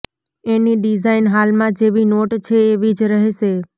એની design હાલમાં જેવી note છે એવી જ રહેશે